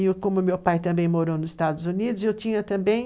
E como meu pai também morou nos Estados Unidos, eu tinha também